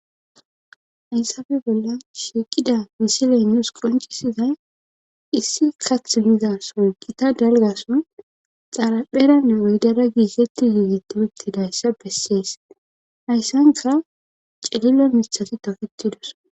Hayssafe bolla shiiqida misiley nuus qoncisizay issi kath miza son qi ta dalgason xarapherane oydara giiseti giigetipettidayssa bessees hayssanka celilo mithati tafetidos.